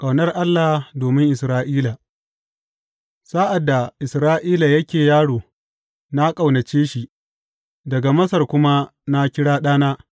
Ƙaunar Allah domin Isra’ila Sa’ad da Isra’ila yake yaro, na ƙaunace shi, daga Masar kuma na kira ɗana.